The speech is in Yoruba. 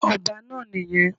Ọba náà nì yẹn